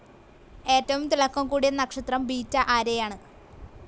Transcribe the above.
ഏറ്റവും തിളക്കം കൂടിയ നക്ഷത്രം ബെട്ട ആരേയാണ്.